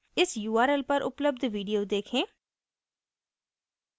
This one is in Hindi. इस url पर उपलब्ध video देखें